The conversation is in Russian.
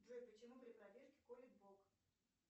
джой почему при пробежке колет бок